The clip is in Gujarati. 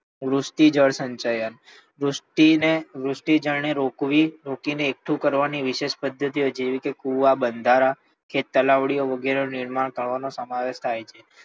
વૃષ્ટિ જળ સંચયન વૃષ્ટિને વૃષ્ટિ જળને રોકવી વૃષ્ટિને એકઠી કરવાની વિશેષ પ્રવૃત્તિ હોય છે જેમ કે કુવા બંધારા કે તલાવડી વગેરેનું નિર્માણ થવાનું સમય સમાવેશ થાય છે.